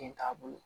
Den t'a bolo